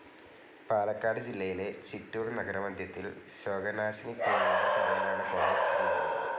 പാലക്കാട് ജില്ലയിലെ ചിറ്റൂർ നഗരമദ്ധ്യത്തിൽ ശോകനാശിനിപ്പുഴയുടെ കരയിലാണ് കോളേജ്‌ സ്ഥിതിചെയ്യുന്നത്.